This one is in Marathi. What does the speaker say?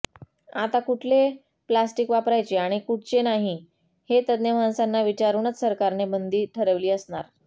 आता कुठले प्लॅस्टिक वापरायचे आणि कुठचे नाही हे तज्ञ माणसांना विचारूनच सरकारने बंदी ठरविली असणार